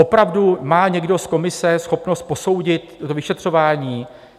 Opravdu má někdo z komise schopnost posoudit to vyšetřování?